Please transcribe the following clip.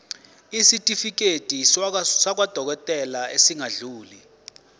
isitifiketi sakwadokodela esingadluli